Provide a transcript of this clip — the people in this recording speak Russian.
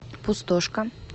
пустошка